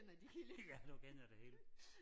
Ja du kender det hele